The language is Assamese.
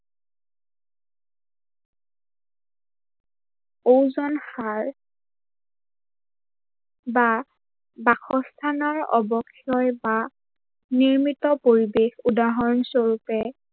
অজন সাৰ বা বাসস্থানৰ অবক্ষয় বা নিৰ্মিত পৰিবেশ উদাহৰনস্বৰূপে